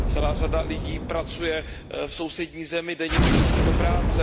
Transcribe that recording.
Celá řada lidí pracuje v sousední zemi, denně přejíždí do práce.